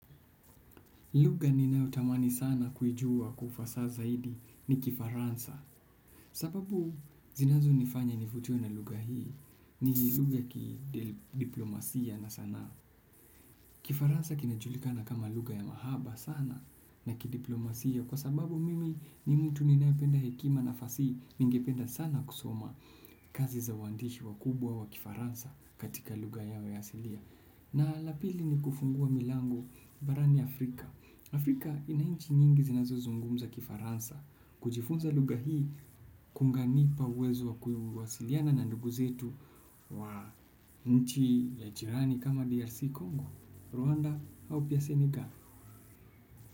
Lugha ninayo tamani sana kuijua kwa ufasa zaidi ni Kifaransa. Sababu zinazo nifanya nivutiwe na lugha hii ni lugha ya kidiplomasia na sanaa. Kifaransa kinajulikana kama lugha ya mahaba sana na kidiplomasia kwa sababu mimi ni mtu ninayependa hekima na fasihi ningependa sana kusoma kazi za waandishi wakubwa wa Kifaransa katika lugha yao ya asilia na la pili ni kufungua milango barani Afrika. Afrika inanchi nyingi zinazozungumza Kifaransa kujifunza lugha hii kunanipa uwezo wa kuwasiliana na ndugu zetu wa nchi la jirani kama DRC Congo, Rwanda au pia Senegal.